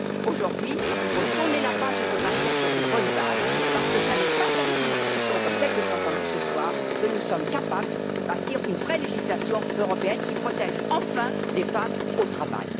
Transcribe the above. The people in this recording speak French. Aujourd'hui, selon moi, il faut tourner la page et repartir sur de bonnes bases parce que ce n'est pas avec une discussion comme celle de ce soir que nous sommes capables de bâtir une vraie législation européenne qui protège enfin les femmes au travail.